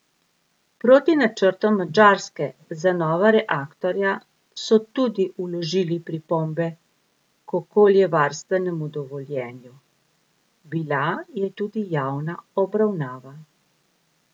Proti načrtom Madžarske za nova reaktorja so tudi vložili pripombe k okoljevarstvenemu dovoljenju, bila je tudi javna obravnava.